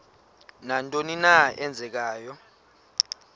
nantoni na eenzekayo